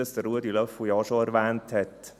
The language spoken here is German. Ich spreche hier von der FDP.